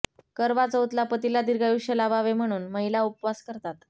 करवाचौथला पतीला दीर्घायुष्य लाभावे म्हणून महिला उपवास करतात